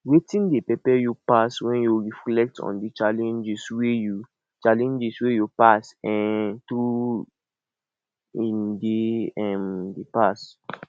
wetin dey pepe you pass when you reflect on di challenges wey you challenges wey you pass um through in dey um past